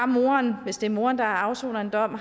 moren hvis det er moren der afsoner en dom